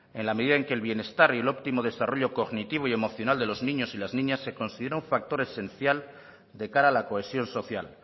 en la medida en que el bienestar y el óptimo desarrollo cognitivo y emocional de los niños y las niñas se considera un factor esencial de cara a la cohesión social